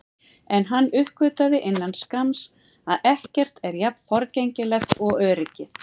En hann uppgötvaði innan skamms að ekkert er jafn forgengilegt og öryggið.